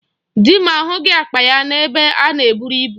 Di m ahụghị akpa ya n'ebe a na eburu ibu.